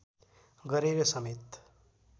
गरेर समेत